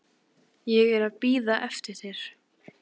Ég er að bíða eftir þér.